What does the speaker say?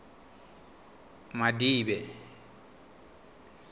madibe